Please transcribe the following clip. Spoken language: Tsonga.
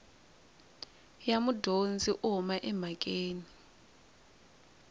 ya mudyondzi u huma emhakeni